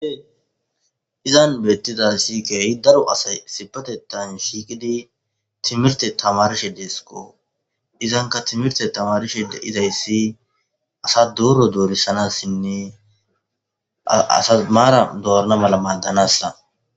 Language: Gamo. Izan betizay kehi daro aday issipetethan shiqidi timirte tamatishe desko izanka timirte tamarishr de'izaysi asa doro dorisanasinne asad mara dorana mala madanasa